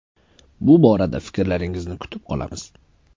Bu borada fikrlaringizni kutib qolamiz.